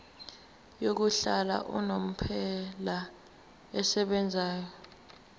yokuhlala unomphela esebenzayo